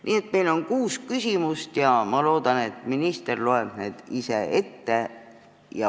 Nii et meil on kuus küsimust ja ma loodan, et minister loeb need ise ette.